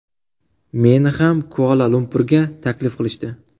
Meni ham Kuala-Lumpurga taklif qilishdi.